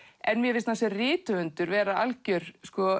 en mér finnst hann sem rithöfundur vera algjör